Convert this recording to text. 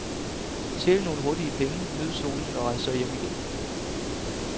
Tjen nogle hurtige penge, nyd solen og rejs så hjem igen.